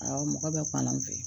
Awɔ mɔgɔ bɛ kɔn an fɛ